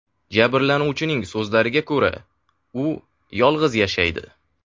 Jabrlanuvchining so‘zlariga ko‘ra, u yolg‘iz yashaydi.